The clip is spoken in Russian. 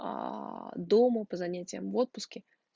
аа дома по занятиям в отпуске